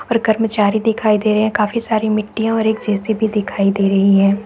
और कर्मचारी दिखाई दे रहे है काफी सारी मिट्टियाँ और एक जे_सी_बी दिखाई दे रही है।